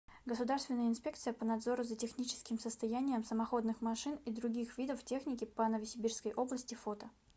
государственная инспекция по надзору за техническим состоянием самоходных машин и других видов техники по новосибирской области фото